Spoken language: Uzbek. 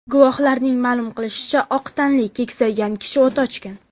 Guvohlarning ma’lum qilishicha, oq tanli, keksaygan kishi o‘t ochgan.